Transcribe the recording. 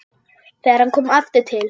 Þegar hann kom aftur til